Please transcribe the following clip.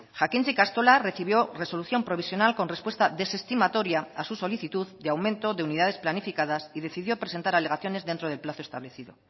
jakintza ikastola recibió resolución provisional con respuesta desestimatoria a su solicitud de aumento de unidades planificadas y decidió presentar alegaciones dentro del plazo establecido